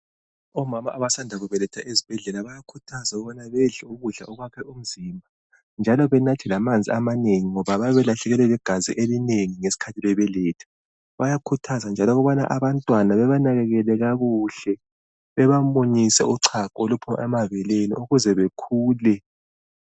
Omama abasanda kubeletha ezibhedlela bayakhuthazwa ukubana bedle ukudla okwakha umzimba njalo benathe lamanzi amanengi ngoba bayabe belahlekelwe ligazi elinengi ngesikhathi bebeletha, bayakhuthzwa njalo ukubana abantwana bebanakekele kakuhle, bebamunyise uchago oluphuma emabeleni ukuze bakhule.